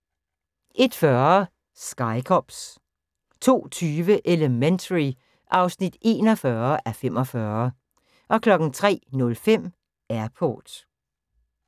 01:40: Sky Cops 02:20: Elementary (41:45) 03:05: Airport